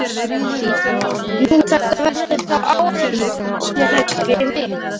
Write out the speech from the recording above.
Nú, þetta verður þá áreynslulaust fyrir mig.